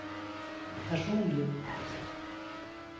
personlig